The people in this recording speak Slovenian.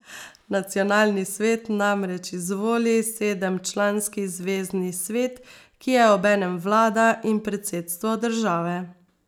Nacionalni svet namreč izvoli sedemčlanski Zvezni svet, ki je obenem vlada in predsedstvo države.